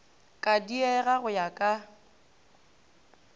ka diega go ya ka